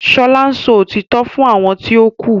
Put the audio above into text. Shola ǹsọ òtítọ́ fún àwọn ti o ku.